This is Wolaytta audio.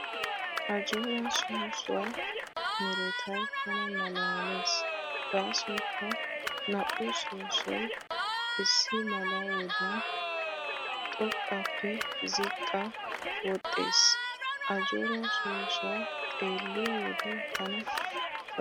Ajjooraa soossuwaa meretay tana malaalees gaasoykka naa"u soossoy issi mala wodiyan xoqqaappe ziqqaa wodhdhees. Ajjooraa soossuwaa xeelliyo wode tana ufayssees.